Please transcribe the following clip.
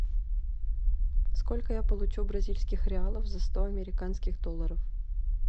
сколько я получу бразильских реалов за сто американских долларов